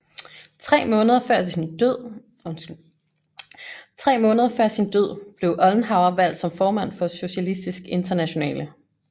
Tre måneder før sin død blev Ollenhauer valgt som formand for Socialistisk Internationale